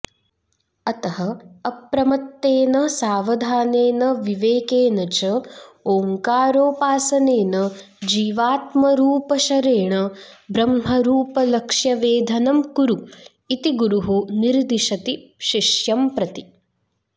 अतः अप्रमत्तेन सावधानेन विवेकेन च ओङ्कारोपासनेन जीवात्मरूपशरेण ब्रह्मरूपलक्ष्यवेधनं कुरु इति गुरुः निर्दिशति शिष्यं प्रति